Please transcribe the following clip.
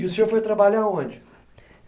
E o senhor foi trabalhar a onde?